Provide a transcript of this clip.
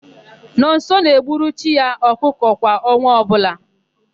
Nọnso na-egburu chi ya ọkụkọ kwa ọnwa ọbụla.